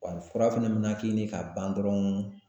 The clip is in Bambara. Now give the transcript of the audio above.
Wa ni fura fɛnɛ me na k'i ni ka ban dɔrɔn